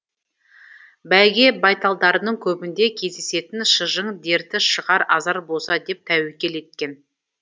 бәйге байталдарының көбінде кездесетін шыжың дерті шығар азар болса деп тәуекел еткен